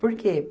Por quê?